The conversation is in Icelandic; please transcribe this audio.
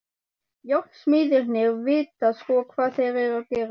Járnsmiðirnir vita sko hvað þeir eru að gera.